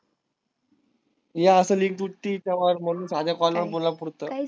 ही असेल एक duty तेव्हाच म्हणून ठाणे कोल्हापूरचं.